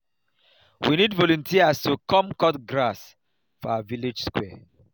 we need volunteers to come cut grass for our village square